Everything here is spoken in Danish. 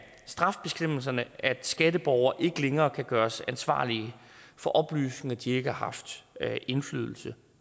strafbestemmelserne at skatteborgere ikke længere kan gøres ansvarlige for oplysninger de ikke har haft indflydelse